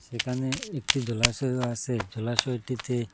এখানে একটি জলাশয়ও আসে জলাশয়টিতে--